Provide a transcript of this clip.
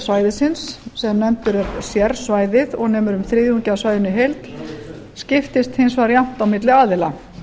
svæðisins sem nefndur er sérsvæðið og nemur um þriðjungi af svæðinu í heild skiptist hins vegar jafnt á milli aðila